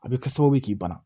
A bɛ kɛ sababu ye k'i bana